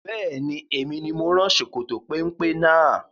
Bẹ́ẹ̀ni, Emi ni mo rán ṣòkòtò péńpé náà